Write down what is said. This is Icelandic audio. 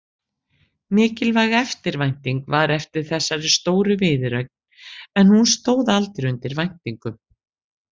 Mikil eftirvænting var eftir þessari stóru viðureign en hún stóð aldrei undir væntingum.